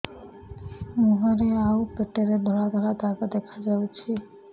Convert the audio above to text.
ମୁହଁରେ ଆଉ ପେଟରେ ଧଳା ଧଳା ଦାଗ ଦେଖାଯାଉଛି